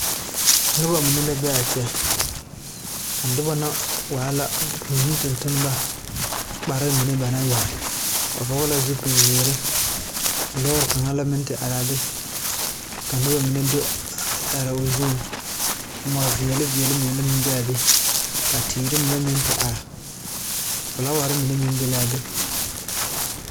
Noba mine la be a kyɛ, a noba na waa la buune tontonneba, kpare mine ba naŋ yɛre ba fɔle la zupil ziiri, lɔɔre kaŋa meŋ naŋ te are be, ka noba mine do te are o zuŋ, mɔ veɛle veɛle meŋ te be a be, ka teere mine meŋ te are, fiilaaware mine meŋ be la a be.